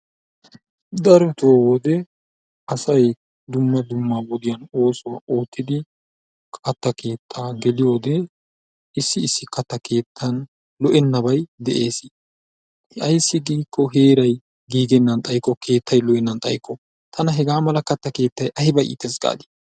Darotoo wode asay dumma dumma oosuwa oottidi katta keettaa geliyode issi issi katta keettan lo''enabay de'ees. Ayssi giikko heeray giigennan xaykko keettay lo'ennan xaykko tana hegaa mala katta keettay ayba iittees gaadi.